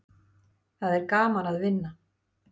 Það er gaman að vinna.